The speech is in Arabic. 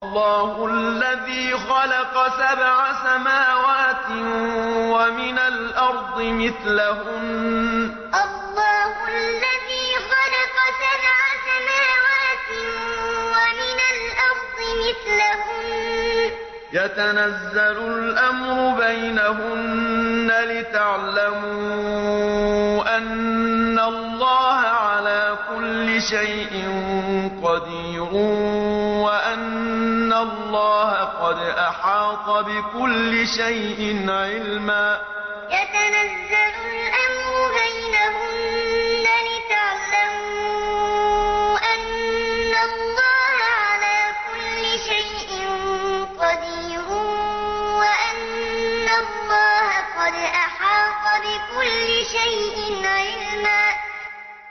اللَّهُ الَّذِي خَلَقَ سَبْعَ سَمَاوَاتٍ وَمِنَ الْأَرْضِ مِثْلَهُنَّ يَتَنَزَّلُ الْأَمْرُ بَيْنَهُنَّ لِتَعْلَمُوا أَنَّ اللَّهَ عَلَىٰ كُلِّ شَيْءٍ قَدِيرٌ وَأَنَّ اللَّهَ قَدْ أَحَاطَ بِكُلِّ شَيْءٍ عِلْمًا اللَّهُ الَّذِي خَلَقَ سَبْعَ سَمَاوَاتٍ وَمِنَ الْأَرْضِ مِثْلَهُنَّ يَتَنَزَّلُ الْأَمْرُ بَيْنَهُنَّ لِتَعْلَمُوا أَنَّ اللَّهَ عَلَىٰ كُلِّ شَيْءٍ قَدِيرٌ وَأَنَّ اللَّهَ قَدْ أَحَاطَ بِكُلِّ شَيْءٍ عِلْمًا